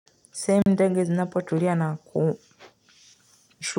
Tuseme ndege zinapotulia na kushu.